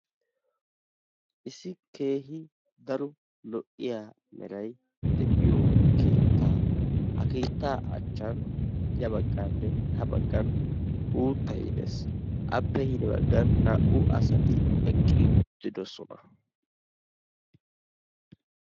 Issi keehii daro lo'iya meray de'iyo keettaa ha keettaa achchan ya baganninne ha bagan uuttay dees. Appe hini bagan naa'u asatti eqqi uttidosonna.